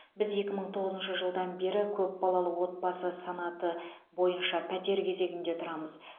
біз екі мың тоғызыншы жылдан бері көпбалалы отбасы санаты бойынша пәтер кезегінде тұрамыз